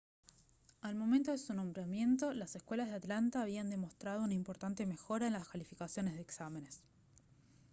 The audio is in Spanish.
al momento de su nombramiento las escuelas de atlanta habían demostrado una importante mejora en las calificaciones de exámenes